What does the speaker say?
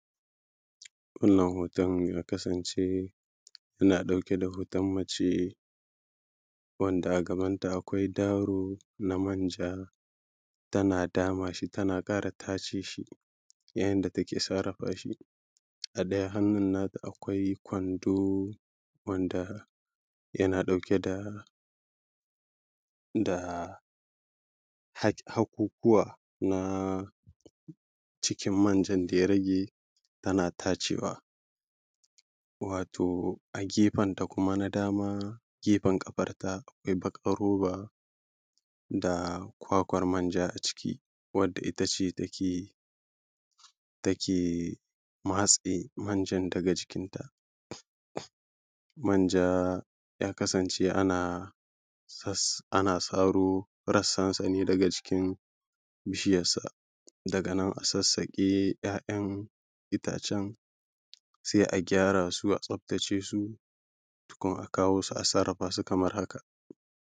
wannan hoton ya kasance na ɗauke da mace wanda a gabanta akwai daro na manja tana dama shi tana ƙara tace shi yayin da take sarrafa shi a ɗaya hannun nata akwai kwando wanda yana ɗauke da da hakukuwa na cikin manjan da ya rage tana tacewa wato a gefenta kuma na dama gefen ƙafarta akwai roba da kwakwar manja a ciki wadda ita ce take take matse manjan daga jikinta manja ya kasance ana saro rassansa ne daga jikin bishiyarsa daga nan a sassaƙe ‘ya’yan itacen sai a gyara su a tsaftace su tukun a kawo su a sarrafa su kamar haka